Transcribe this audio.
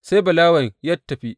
Sai Balawen ya tafi.